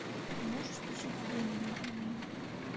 можешь включить убей меня любимый